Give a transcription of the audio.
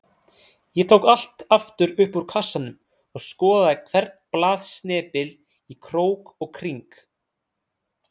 Ég tók allt aftur upp úr kassanum og skoðaði hvern blaðsnepil í krók og kring.